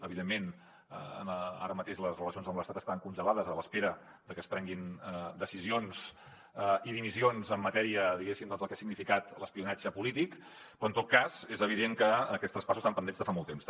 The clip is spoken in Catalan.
evidentment ara mateix les relacions amb l’estat estan congelades a l’espera de que es prenguin decisions i dimissions en matèria diguéssim del que ha significat l’espionatge polític però en tot cas és evident que aquests traspassos estan pendents de fa molt temps